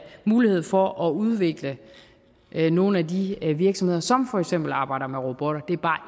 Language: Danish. mulighed for at udvikle nogle af de virksomheder som for eksempel arbejder med robotter det er bare